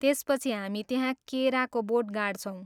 त्यसपछि हामी त्यहाँ केराको बोट गाड्छौँ।